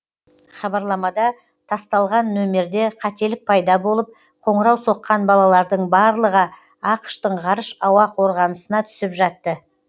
хабарламада тасталған нөмерде қателік пайда болып қоңырау соққан балалардың барлыға ақш тың ғарыш ауа қорғанысына түсіп жатты